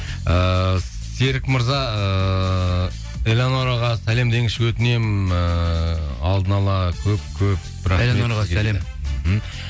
ыыы серік мырза ыыы элеонораға сәлем деңізші өтінемін ыыы алдын ала көп көп мхм